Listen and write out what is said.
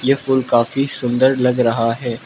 यह फूल काफी सुंदर लग रहा है।